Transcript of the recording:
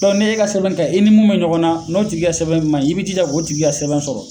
Dɔnku n'e ka sɛbɛn ka ɲin, i ni mun bɛ ɲɔgɔn na, n'o tigi ka sɛbɛn ma ɲin i bɛ i jija k'o igi ka sɛbɛn sɔrɔ.